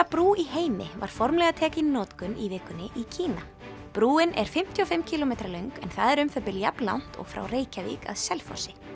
brú í heimi var formlega tekin í notkun í vikunni í Kína brúin er fimmtíu og fimm kílómetra löng en það er um það bil jafnlangt og frá Reykjavík að Selfossi